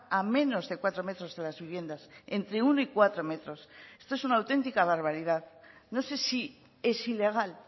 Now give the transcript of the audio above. a menos de cuatro metros de las viviendas entre uno y cuatro metros esto es una auténtica barbaridad no sé si es ilegal